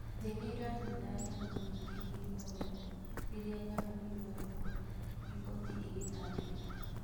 "Thĩĩ nĩranina nyamũ nyingĩ imwoyo rĩrĩa nyamũ iroragwa,"riboti ĩgatarĩria